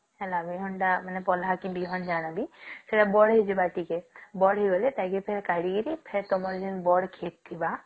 ହେଲା ମାନେ ପହିଲା କି ବିହନ ଜାଣାବି ସେଟା ବଢେଇ ଯିବା ଟିକେ ବଢିଗଲେ ତାକୁ ଟିକେ କାଢିକିରୀ ଫେର ତମର ଯେମତି ବଢ କ୍ଷେତ ଥିବା